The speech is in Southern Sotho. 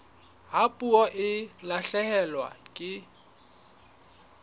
ha puo e lahlehelwa ke